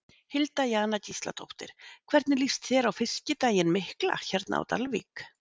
Hilda Jana Gísladóttir: Hvernig líst þér á Fiskidaginn mikla hérna á Dalvík?